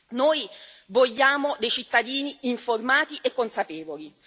Noi vogliamo dei cittadini informati e consapevoli.